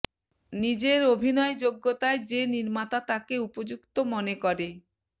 নিজের অভিনয় যোগ্যতায় যে নির্মাতা তাকে উপযুক্ত মনে করে